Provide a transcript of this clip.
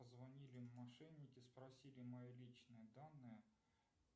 позвонили мошенники спросили мои личные данные